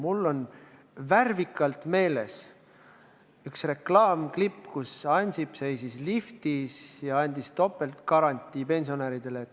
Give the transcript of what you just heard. Mul on värvikalt meeles üks reklaamklipp, milles Ansip seisis liftis ja andis pensionäridele topeltgarantii.